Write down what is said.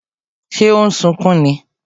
Ṣé o n sunkún ni?